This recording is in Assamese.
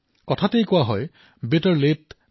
কোৱা হয় যে বেটাৰ লাতে থান নেভাৰ